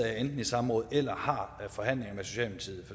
i samråd eller har forhandlinger